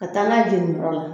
ka taa n'a ye jenininyɔrɔ la